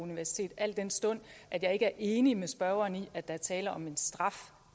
universitet al den stund at jeg ikke er enig med spørgeren i at der er tale om en straf